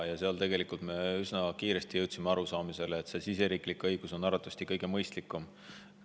Seal me jõudsime üsna kiiresti arusaamisele, et riigisisene õigus on arvatavasti kõige mõistlikum.